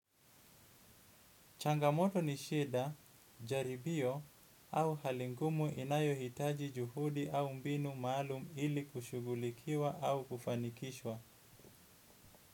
Changamoto ni sheda, jaribio au hali ngumu inayo hitaji juhudi au mbinu maalum ili kushughulikiwa au kufanikishwa.